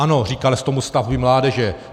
Ano, říkalo se tomu stavby mládeže.